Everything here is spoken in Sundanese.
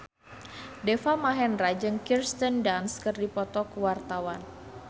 Deva Mahendra jeung Kirsten Dunst keur dipoto ku wartawan